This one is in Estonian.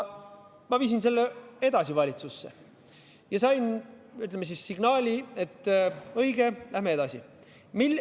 Ma viisin selle edasi valitsusse ja sain, ütleme siis, signaali, et õige, lähme edasi.